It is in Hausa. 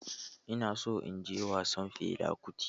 Ina so in je wasan Fela Kuti.